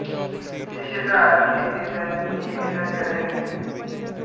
श्री क्षेत्र आळंदी येथे त्यांनी वेदांचे अध्ययन केले